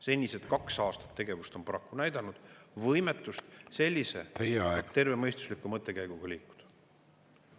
Senised kaks aastat tegevust on paraku näidanud võimetust sellise tervemõistusliku mõttekäiguga liikuda.